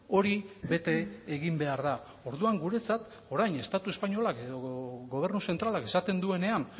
hori bete egin behar da orduan guretzat orain estatu espainolak edo gobernu zentralak esaten duenean